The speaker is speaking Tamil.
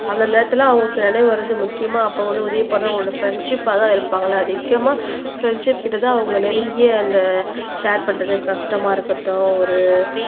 அந்த நேரத்துல அவங்களுக்கு நினைவு வருவது முக்கியமா அப்ப வந்து உதவி பண்ண அவங்களோட ஃப்ரெண்ட்ஷிப்பா தான் இருப்பாங்கல அதிகமா ஃப்ரண்ட்ஷிப் கிட்ட தான் அவங்க நெருங்கிய அந்த ஷேர் பண்றது கஷ்டமா இருக்கட்டும் ஒரு